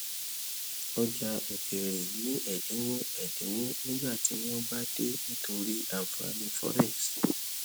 ọjà òkèèrè ní ẹdínwó ẹdínwó nígbà tí wọn bá dé nítorí ànfàní forex